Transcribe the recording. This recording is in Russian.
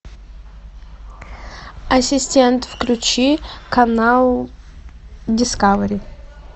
ассистент включи канал дискавери